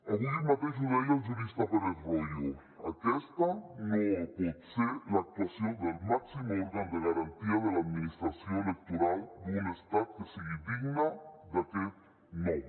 avui mateix ho deia el jurista pérez royo aquesta no pot ser l’actuació del màxim òrgan de garantia de l’administració electoral d’un estat que sigui digna d’aquest nom